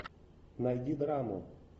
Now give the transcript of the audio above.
найди драму